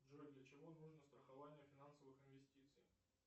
джой для чего нужно страхование финансовых инвестиций